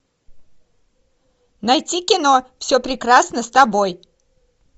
найти кино все прекрасно с тобой